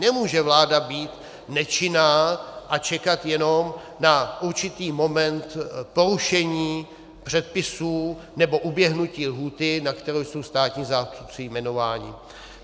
Nemůže vláda být nečinná a čekat jenom na určitý moment porušení předpisů nebo uběhnutí lhůty, na kterou jsou státní zástupci jmenováni.